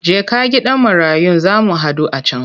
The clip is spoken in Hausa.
Jeka gidan marayun za mu haɗu a can!